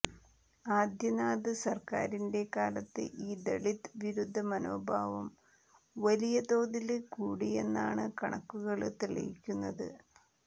ആദിത്യനാഥ് സര്ക്കാരിന്റെ കാലത്ത് ഈ ദളിത് വിരുദ്ധ മനോഭാവം വലിയ തോതില് കൂടിയെന്നാണ് കണക്കുകള് തെളിയിക്കുന്നത്